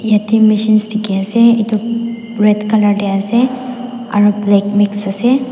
Yate machines dekhe ase etu red colour tey ase aro black mixed ase.